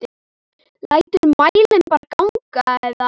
Læturðu mælinn bara ganga eða?